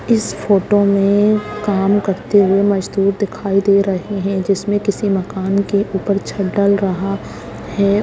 इस फोटो में काम करते हुए मज़दूर दिखाई दे रहे हैं जिस में किसी मकान के ऊपर छत डल रहा है।